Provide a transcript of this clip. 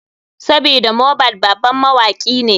Sabida mohbad baban mawaki ne.